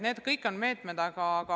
Need kõik on head meetmed.